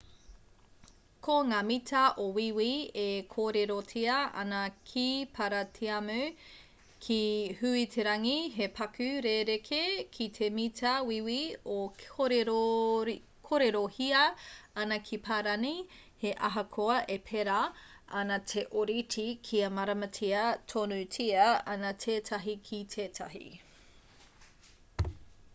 ko ngā mita o wīwi e kōrerotia ana ki paratiamu ki huiterangi he paku rerekē ki te mita wīwi e kōrerohia ana ki parani he ahakoa e pērā ana te ōrite kia māramatia tonutia ana tētahi ki tētahi